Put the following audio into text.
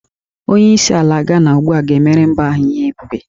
Onyeisi ala Gana ugbu a ga-emere mba ahụ ihe ebube